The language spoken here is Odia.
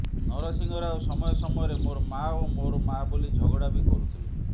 ନରସିଂହ ରାଓ ସମୟ ସମୟରେ ମୋର ମା ଓ ମୋର ମା ବୋଲି ଝଗଡ଼ା ବି କରୁଥିଲେ